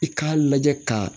I k'a lajɛ ka